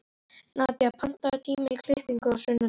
Nadía, pantaðu tíma í klippingu á sunnudaginn.